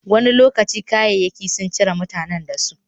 Wani lokaci, kayayyaki sun cire mutanen da su.